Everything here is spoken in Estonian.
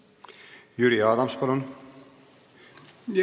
Jüri Adams, palun!